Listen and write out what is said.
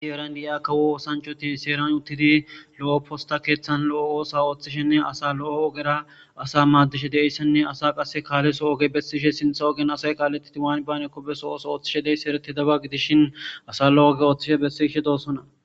Issi heeran diya kawo oththanchati issi heeran uttidi lo'o postta keththan lo'o oso oththishene asa lo'o oggera asa maddishe dizayssane asa qasse kaletho ogge bessishe sinththa oggen asay kalettidi waani baanako besso otho oththishe diyabay erretidabba giddishin asa lo'o ogge othi besishe dossona.